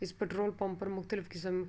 اس petrol pump پر مختلف کسم کی--